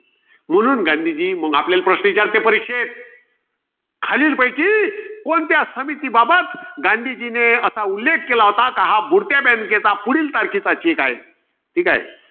म्हणून गांधीजी. आपल्यला प्रश्न विचारते परीक्षेत. खालीलपैकी कोणत्या समितीबाबत, गांधीजीने असा उल्लेख केला होता? कि हा बुडत्या bank चा पुढील तारखेचा cheque आहे. ठीकाय.